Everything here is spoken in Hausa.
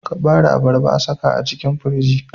kabare abarba a saka a cikin firiji